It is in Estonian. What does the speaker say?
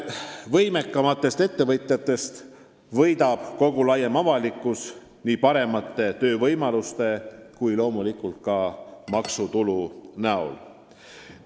Võimekamatest ettevõtjatest võidab kogu laiem avalikkus, seda nii paremate töövõimaluste kui loomulikult ka maksutulu näol.